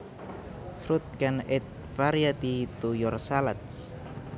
Fruit can add variety to your salads